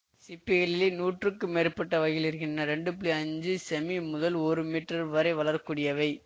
சிப்பிகளிலேயே நூற்றுக்கும் மேற்பட்ட வகைகள் இருக்கின்றன ரெண்டுஐஞ்சு செமீ முதல் ஒரு மீட்டர் வரை வளரக்கூடியவை